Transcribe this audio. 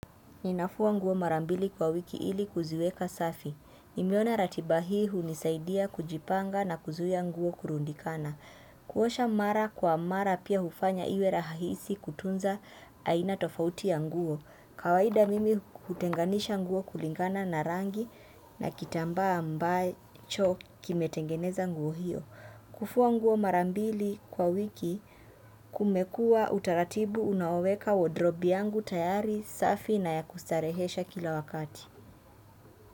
Ninafua nguo mara mbili kwa wiki ili kuziweka safi. Nimeona ratiba hii hunisaidia kujipanga na kuzuia nguo kurundikana. Kuosha mara kwa mara pia hufanya iwe rahisi kutunza aina tofauti ya nguo. Kawaida mimi hutenganisha nguo kulingana na rangi na kitambaa ambacho kimetengeneza nguo hio. Kufua nguo mara mbili kwa wiki kumekuwa utaratibu unaoweka wardrobe yangu tayari safi na ya kustarehesha kila wakati.